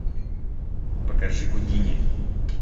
покажи гудини